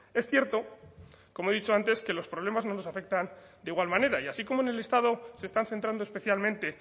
es cierto como he dicho antes que los problemas nos afectan de igual manera y así como en el listado se están centrando especialmente